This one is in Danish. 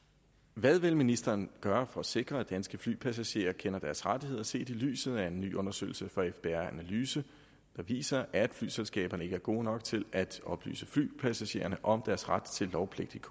hvad vil ministeren gøre for at sikre at danske flypassagerer kender deres rettigheder set i lyset af at en ny undersøgelse fra fbr analyse viser at flyselskaberne ikke er gode nok til at oplyse passagererne om deres ret til lovpligtig